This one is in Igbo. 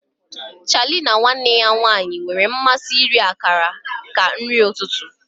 Charlie na nwanne ya nwanyị nwere mmasị iri akara ka nri ụtụtụ.